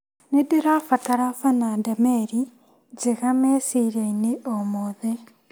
Nĩndĩrabatara Bana Ndameri njega meciria-inĩ o mothe.